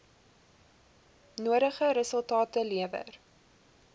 nodige resultate lewer